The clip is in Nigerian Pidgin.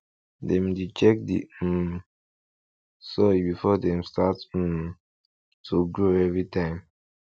dem dey check the um soil before dem start um to grow every time